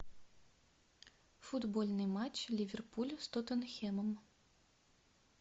футбольный матч ливерпуль с тоттенхэмом